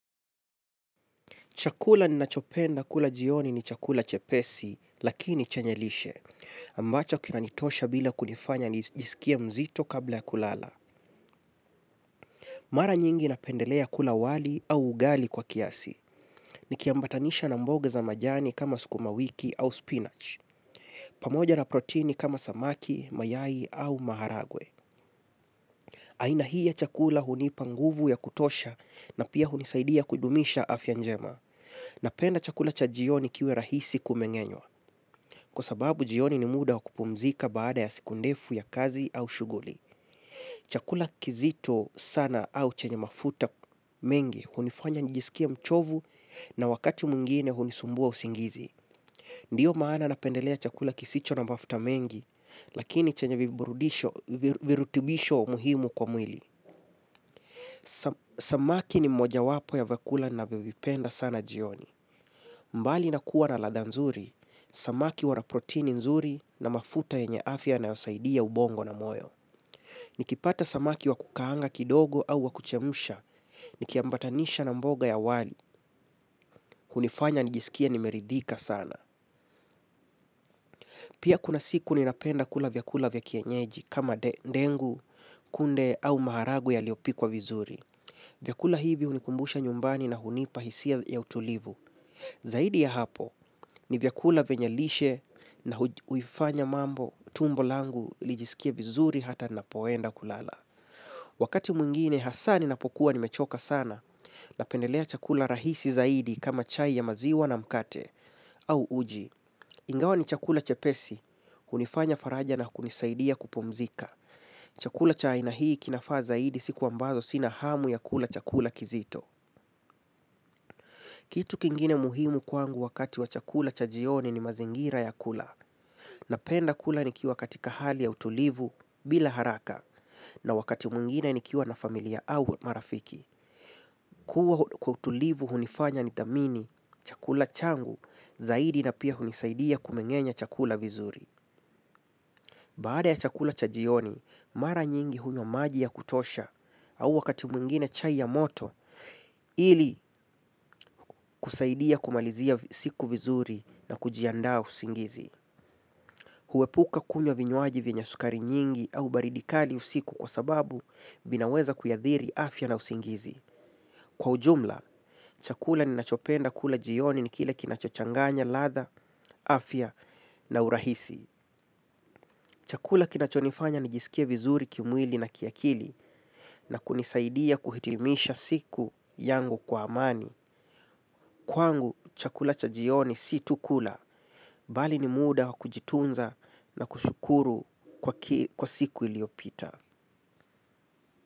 Chakula ninachopenda kula jioni ni chakula chepesi, lakini chenye lishe, ambacho kinanitosha bila kunifanya nijisikie mzito kabla ya kulala. Mara nyingi napendelea kula wali au ugali kwa kiasi, nikiambatanisha na mboga za majani kama sukumawiki au spinach, pamoja na proteini kama samaki, mayai au maharagwe. Aina hii ya chakula hunipa nguvu ya kutosha na pia hunisaidia kudumisha afya njema. Napenda chakula cha jioni kiwe rahisi kumengenywa. Kwa sababu jioni ni muda wa kupumzika baada ya siku ndefu ya kazi au shughuli. Chakula kizito sana au chenye mafuta mengi hunifanya nijisikie mchovu na wakati mwingine hunisumbua usingizi. Ndiyo maana napendelea chakula kisicho na mafuta mengi lakini chenye virutubisho muhimu kwa mwili. Samaki ni moja wapo ya vyakula ninavyovipenda sana jioni. Mbali na kuwa na ladha nzuri, samaki wana proteini nzuri na mafuta yenye afya yanayosaidia ubongo na moyo. Nikipata samaki wa kukaanga kidogo au wa kuchemsha, nikiambatanisha na mboga ya wali, hunifanya nijisikie nimeridhika sana. Pia kuna siku ninapenda kula vyakula vya kienyeji kama ndengu, kunde au maharagwe yaliopikwa vizuri. Vyakula hivi hunikumbusha nyumbani na hunipa hisia ya utulivu. Zaidi ya hapo ni vyakula vyenye lishe na huifanya mambo tumbo langu lijisikie vizuri hata ninapoenda kulala. Wakati mwingine hasa ninapokuwa nimechoka sana napendelea chakula rahisi zaidi kama chai ya maziwa na mkate au uji. Ingawa ni chakula chepesi, hunifanya faraja na kunisaidia kupumzika. Chakula cha aina hii kinafaa zaidi siku ambazo sina hamu ya kula chakula kizito. Kitu kingine muhimu kwangu wakati wa chakula cha jioni ni mazingira ya kula, napenda kula nikiwa katika hali ya utulivu bila haraka, na wakati mwingine nikiwa na familia au marafiki. Kwa utulivu hunifanya nidhamini, chakula changu, zaidi na pia hunisaidia kumengenya chakula vizuri. Baada ya chakula cha jioni, mara nyingi hunywa maji ya kutosha au wakati mwingine chai ya moto ili kusaidia kumalizia siku vizuri na kujianda usingizi. Huepuka kunywa vinywaji venye sukari nyingi au baridi kali usiku kwa sababu vinaweza kuiathiri afya na usingizi. Kwa ujumla, chakula ninachopenda kula jioni ni kile kinachochanganya ladha, afya na urahisi. Chakula kinachonifanya nijisikie vizuri kimwili na kiakili na kunisaidia kuhitimisha siku yangu kwa amani. Kwangu, chakula cha jioni si tu kula, bali ni muda wa kujitunza na kushukuru kwa siku iliyopita.